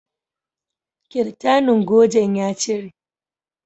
Kirtanin gojen ya cire